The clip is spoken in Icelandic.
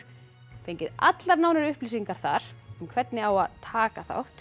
fengið allar nánari upplýsingar þar um hvernig á að taka þátt